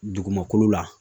Dugumakolo la